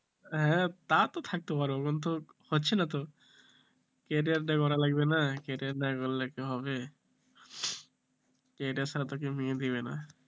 হ্যাঁ তা তো থাকতে পারবো কিন্তু হচ্ছে না তো career গড়া লাগবে career না গড়লে কি হবে career ছাড়া তো কেউ মেয়ে দেবে না,